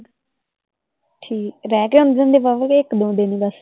ਰਹਿਕੇ ਆਉਂਦੇ ਹੁੰਦੇ ਵਾਹਵਾਹ ਕੇ ਇੱਕ ਦੋ ਦਿੰਨ ਹੀ ਬਸ?